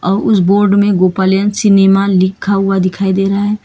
और उस बोर्ड में गोपालियन सिनेमा लिखा हुआ दिखाई दे रहा है।